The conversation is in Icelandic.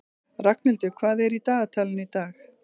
Ragnhildur, hvað er í dagatalinu í dag?